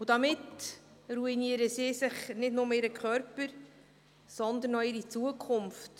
Damit ruinieren sie nicht bloss ihren Körper, sondern auch ihre Zukunft.